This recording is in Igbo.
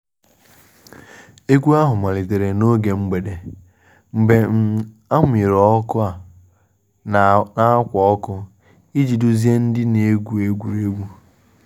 Egwu ahụ malitere n’oge mgbede, mgbe um a muyere ọkụ na ákwà ọkụ iji duzie ndị na-egwu egwuregwu